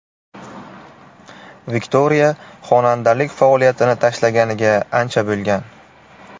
Viktoriya xonandalik faoliyatini tashlaganiga ancha bo‘lgan.